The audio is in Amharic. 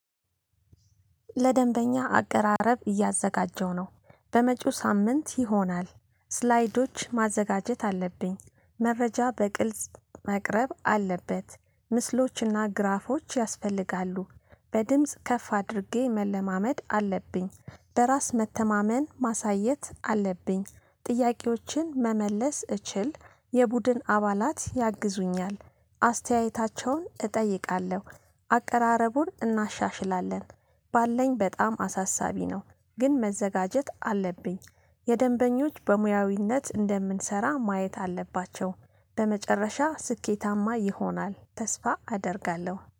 ለደንበኛ አቀራረብ እያዘጋጀሁ ነው። በመጪው ሳምንት ይሆናል። ስላይዶች ማዘጋጀት አለብኝ መረጃ በግልጽ ማቅረብ አለበት ምስሎችና ግራፎች ያስፈልጋሉ። በድምጽ ከፍ አድርጌ መለማመድ አለብኝ። በራስ መተማመን ማሳየት አለብኝ። ጥያቄዎችን መመለስ እችል። የቡድን አባላት ያግዙኛል። አስተያየታቸውን እጠይቃለሁ። አቀራረቡን እናሻሽላለን። ባለን በጣም አሳሳቢ ነው። ግን መዘጋጀት አለብኝ። የደንበኞች በሙያዊነት እንደምንሰራ ማየት አለባቸው። በመጨረሻ ስኬታማ ይሆናል ተስፋ አደርጋለሁ